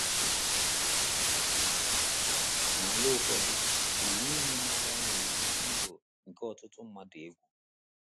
N’ala ụfọdụ, ụnwụ nri na agha na - eyi ndụ nke ọtụtụ mmadụ egwu.